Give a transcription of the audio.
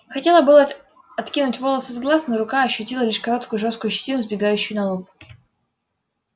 хотела было откинуть волосы с глаз но рука ощутила лишь короткую жёсткую щетину сбегающую на лоб